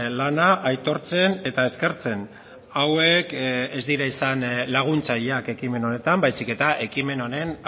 lana aitortzen eta eskertzen hauek ez dira izan laguntzaileak ekimen honetan baizik eta ekimen honen